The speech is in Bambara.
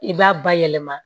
I b'a bayɛlɛma